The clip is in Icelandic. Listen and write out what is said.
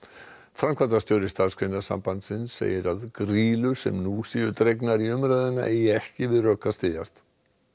framkvæmdastjóri Starfsgreinasambandsins segir að grýlur sem nú séu dregnar í umræðuna eigi ekki við rök að styðjast